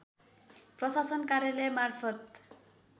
प्रशासन कार्यालय मार्फत